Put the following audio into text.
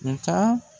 Nga